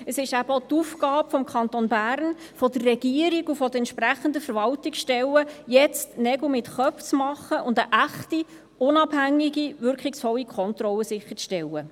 Es ist eben auch die Aufgabe des Kantons Bern, der Regierung und der entsprechenden Verwaltungsstellen, jetzt Nägel mit Köpfen zu machen, und eine echte, unabhängige und wirkungsvolle Kontrolle sicherzustellen.